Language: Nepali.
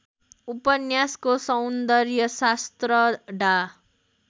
उपन्यासको सौन्दर्यशास्त्र डा